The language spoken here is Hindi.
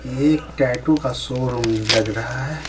ये एक टैटू का शोरूम लग रहा है .